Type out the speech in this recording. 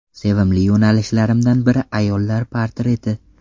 Sevimli yo‘nalishlarimdan biri ayollar portreti.